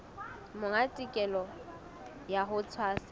monga tokelo ya ho tshwasa